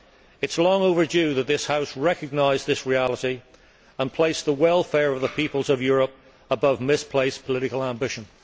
It is long overdue that this House recognise this reality and place the welfare of the peoples of Europe above misplaced political ambition.